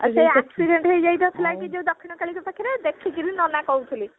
ଆଉ ସେ accident ହେଇଯାଇ ନଥିଲା କି ଯୋଉ ଦକ୍ଷିଣକାଳି ଙ୍କ ପାଖରେ ଦେଖିକିରି ନନା କହୁଥିଲେ